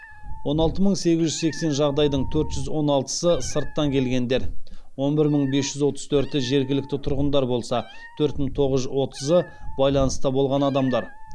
он алты мың сегіз жүз сексен жағдайдың төрт жүз он алтысы сырттан келгендер он бір мың бес жүз отыз төрті жергілікті тұрғындар болса төрт мың тоғыз жүз отызы байланыста болған адамдар